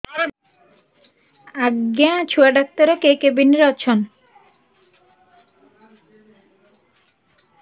ଆଜ୍ଞା ଛୁଆ ଡାକ୍ତର କେ କେବିନ୍ ରେ ଅଛନ୍